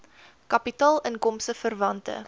kapitaal inkomste verwante